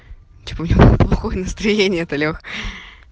типа у него плохое настроение то лех